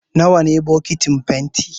Nawa ne bokitin fenti?